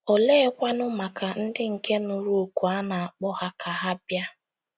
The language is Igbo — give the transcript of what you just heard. Oleekwanụ maka ndị nke nụrụ òkù a na - akpọ ha ka ha “ bịa ”?